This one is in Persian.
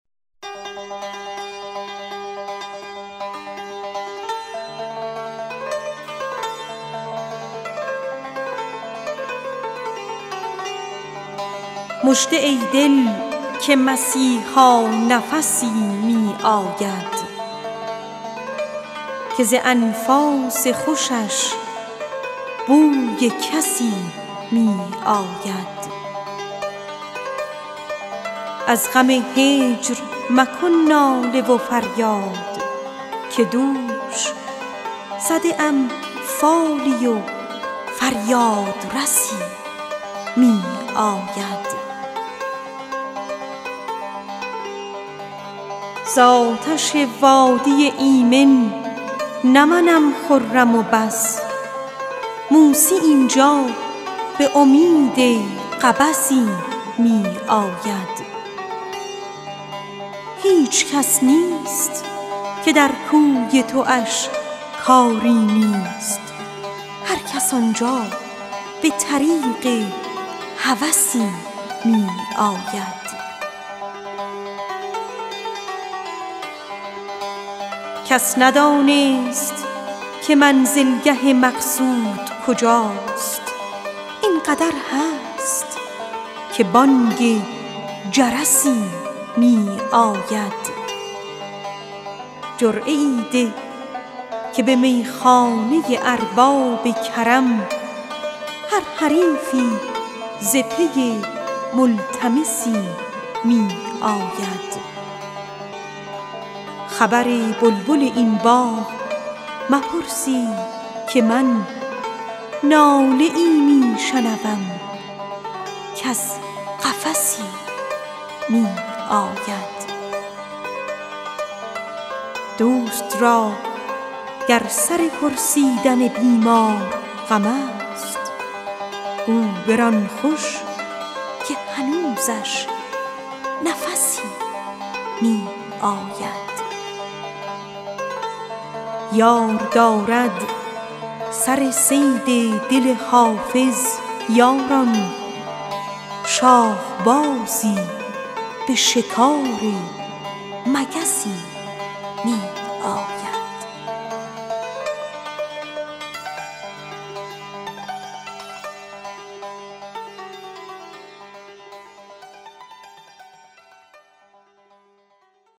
مژده ای دل که مسیحا نفسی می آید که ز انفاس خوشش بوی کسی می آید از غم هجر مکن ناله و فریاد که دوش زده ام فالی و فریادرسی می آید زآتش وادی ایمن نه منم خرم و بس موسی آنجا به امید قبسی می آید هیچ کس نیست که در کوی تواش کاری نیست هرکس آنجا به طریق هوسی می آید کس ندانست که منزلگه معشوق کجاست این قدر هست که بانگ جرسی می آید جرعه ای ده که به میخانه ارباب کرم هر حریفی ز پی ملتمسی می آید دوست را گر سر پرسیدن بیمار غم است گو بران خوش که هنوزش نفسی می آید خبر بلبل این باغ بپرسید که من ناله ای می شنوم کز قفسی می آید یار دارد سر صید دل حافظ یاران شاهبازی به شکار مگسی می آید